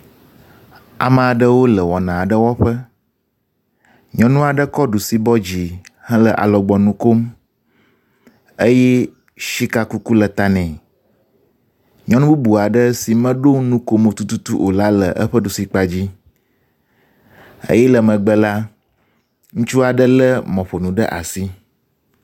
Amea ɖewo le wɔna aɖe wɔƒe, nyɔnu aɖe kɔ ɖusi bɔ dzi hele alɔgbɔnu kom, eye sika kuku le ta nɛ. Nyɔnu bubu aɖe si meɖo nukomo tututu o la le eƒe ɖusi kpa dzi eye le megbe la, ŋutsu aɖe lé mɔƒonu ɖe asi.